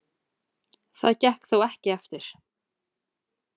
Það gekk þó ekki eftir.